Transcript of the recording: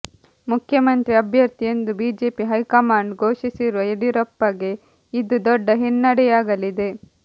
ಮುಖ್ಯಮಂತ್ರಿ ಅಭ್ಯರ್ಥಿ ಎಂದು ಬಿಜೆಪಿ ಹೈಕಮಾಂಡ್ ಘೋಷಿಸಿರುವ ಯಡಿಯೂರಪ್ಪಗೆ ಇದು ದೊಡ್ಡ ಹಿನ್ನಡೆಯಾಗಲಿದೆ